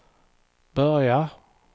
börja